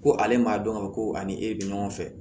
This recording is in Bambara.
Ko ale m'a dɔn ka fɔ ko a ni e bɛ ɲɔgɔn fɛ